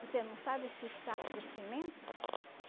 Você não sabe esses saco de cimento?